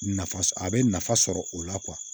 Nafa sɔ a bɛ nafa sɔrɔ o la